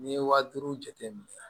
N'i ye wa duuru jate minɛ